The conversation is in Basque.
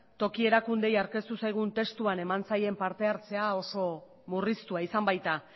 toki erakundeei aurkeztu zaigun testua eman zaien parte hartzea oso murriztua izan baita